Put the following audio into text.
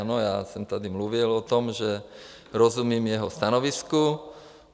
Ano, já jsem tady mluvil o tom, že rozumím jeho stanovisku.